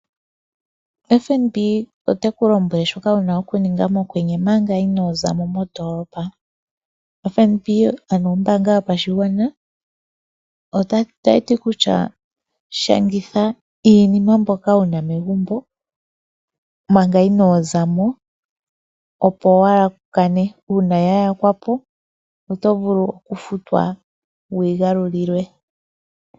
FNB oteku lombwele shoka wuna okuninga mokwenye omanga inoozamo, FNB ano ombaanga yopashigwana otayi ti kutya shangitha iinima mbyoka wuna megumbo manga inoo zamo opo waakane uuna yayakwa po otovulu kufutwa wuyi galulilwe.